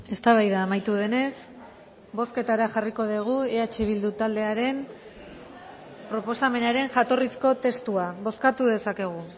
eztabaida amaitu denez bozketara jarriko dugu eh bildu taldearen proposamenaren jatorrizko testua bozkatu dezakegu